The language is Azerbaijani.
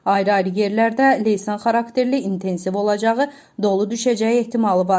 Ayrı-ayrı yerlərdə leysan xarakterli, intensiv olacağı, dolu düşəcəyi ehtimalı var.